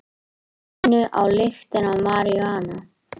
Runnu á lyktina af maríjúana